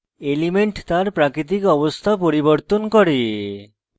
elements তার প্রাকৃতিক অবস্থা পরিবর্তন করে